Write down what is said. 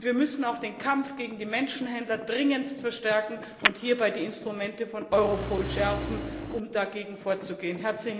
Und wir müssen auch den Kampf gegen die Menschenhändler dringendst verstärken und hierbei die Instrumente von Europol schärfen, um dagegen vorzugehen.